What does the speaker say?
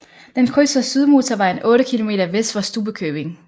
Den krydser Sydmotorvejen 8 km vest for Stubbekøbing